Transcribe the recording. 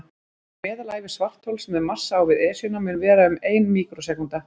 Meðalævi svarthols með massa á við Esjuna mun vera um ein míkrósekúnda.